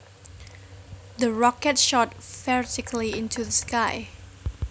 The rocket shot vertically into the sky